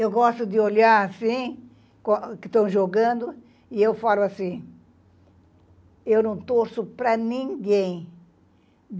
Eu gosto de olhar assim, que estão jogando, e eu falo assim, eu não torço para ninguém.